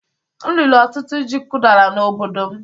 M riri ọtụtụ ji kụdara n'obodo m